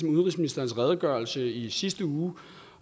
udenrigsministerens redegørelse i sidste uge